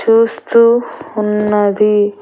చూస్తూ ఉన్నది.